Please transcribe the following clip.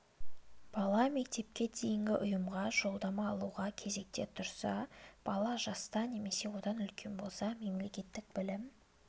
бала мектепке дейінгі ұйымға жолдама алуға кезекте тұрса бала жаста немесе одан үлкен болса мемлекеттік білім